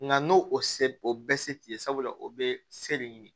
Nka n'o o se o bɛɛ se t'i ye sabula o bɛ se de ɲini